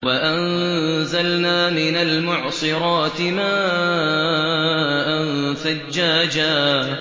وَأَنزَلْنَا مِنَ الْمُعْصِرَاتِ مَاءً ثَجَّاجًا